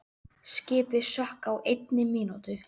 Skipið sökk á einni mínútu.